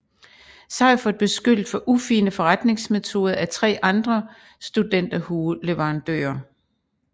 Seifert beskyldt for ufine forretningsmetoder af 3 andre studenterhueleverandører